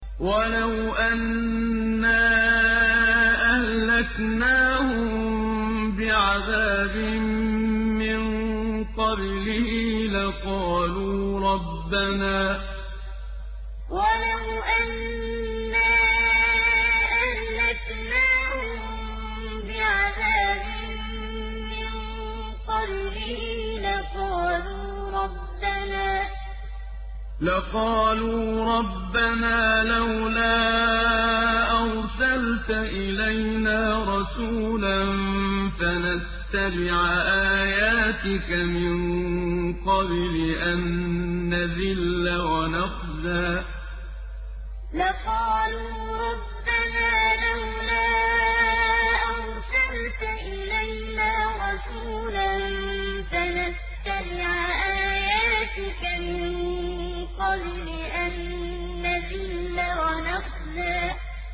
وَلَوْ أَنَّا أَهْلَكْنَاهُم بِعَذَابٍ مِّن قَبْلِهِ لَقَالُوا رَبَّنَا لَوْلَا أَرْسَلْتَ إِلَيْنَا رَسُولًا فَنَتَّبِعَ آيَاتِكَ مِن قَبْلِ أَن نَّذِلَّ وَنَخْزَىٰ وَلَوْ أَنَّا أَهْلَكْنَاهُم بِعَذَابٍ مِّن قَبْلِهِ لَقَالُوا رَبَّنَا لَوْلَا أَرْسَلْتَ إِلَيْنَا رَسُولًا فَنَتَّبِعَ آيَاتِكَ مِن قَبْلِ أَن نَّذِلَّ وَنَخْزَىٰ